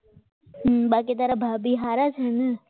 બાકી તારા ભાભી સારા છે ને